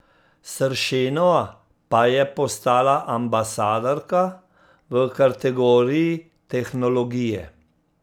Sršenova pa je postala ambasadorka v kategoriji tehnologije.